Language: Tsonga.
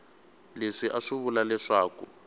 leswi a swi vula leswaku